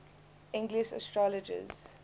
english astrologers